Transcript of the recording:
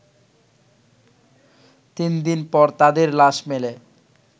তিনদিন পর তাদের লাশ মেলে